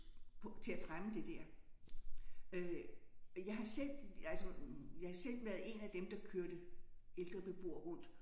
På til at fremme det der øh jeg har selv altså jeg har selv været en af dem der kørte ældre beboere rundt